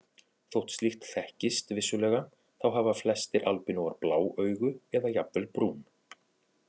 Þótt slíkt þekkist vissulega þá hafa flestir albínóar blá augu eða jafnvel brún.